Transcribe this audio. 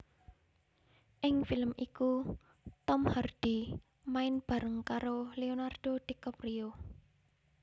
Ing film iku Tom Hardy main bareng karo Lenardo Dicaprio